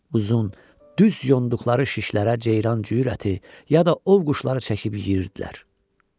Uzun, düz yonduqları şişlərə ceyran cüyür əti, ya da ov quşları çəkib yeyirdilər.